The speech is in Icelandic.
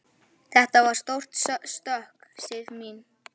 Þetta er stórt stökk, Sif mín.